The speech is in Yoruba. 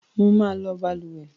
Mo máa lò balùwẹ́